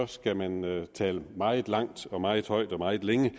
skal man tale meget langt meget højt og meget længe